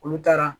Olu taara